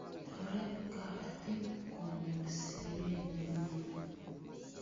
Toret kapatik kunyor siret nemie